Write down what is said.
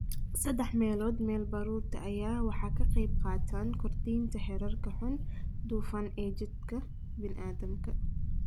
"Saddex meelood meel baruurta ayaa ah waxa ka qaybqaata kordhinta heerarka "xun" dufan ee jidhka bini'aadamka."